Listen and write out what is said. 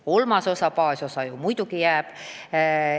Kolmas osa ehk baasosa muidugi jääb.